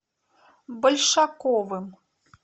большаковым